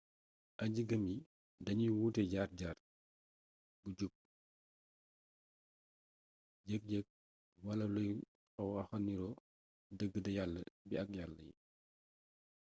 aji-gëm yi dañuy wut jaar-jaar bu jub yëg-yëg wala luy waxa nirook dëgg de yala bi ak yala yi